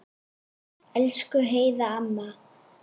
Elsku Heiða amma.